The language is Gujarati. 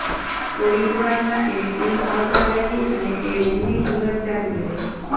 થોડી જ વાર માં એને ઊંઘ આવવા લાગી અને એ રૂમ ની અંદર ચાલી ગઈ